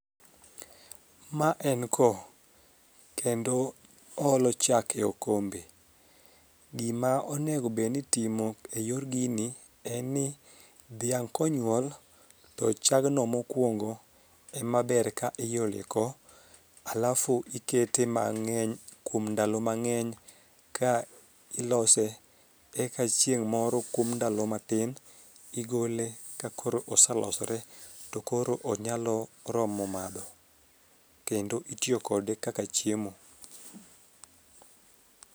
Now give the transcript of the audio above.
Ma en ko kendo oolo chak e okombe. Gima onegobedni itimo e yor gini en ni dhiang' konyuol to chgagno mokwongo emaber ka iolo e ko alafu ikete mang'eny kuom ndalo mang'eny ka ilose eka chieng' moro kuom ndalo matin igole ka koro osalosore to koro onyalo romo madho kendo itiyo kode kaka chiemo.